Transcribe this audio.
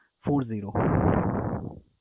four zero ।